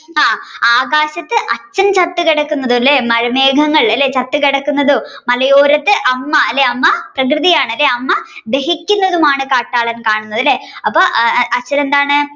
ആ ആകാശത്തു അച്ഛൻ ചത്ത് കിടക്കുന്നതു അല്ലെ മഴമേഖങ്ങൾ അല്ലെ ചത്തുകിടക്കുന്നതും മലയോരത്തു അല്ലെ അമ്മ പ്രകൃതി ആണല്ലേ അമ്മ ദഹിക്കുന്നതുമാണ് കാട്ടാളൻ കാണുന്നത് അല്ലെ ആപ്പോ അച്ഛൻ എന്താണ്